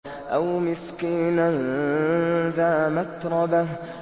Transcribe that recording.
أَوْ مِسْكِينًا ذَا مَتْرَبَةٍ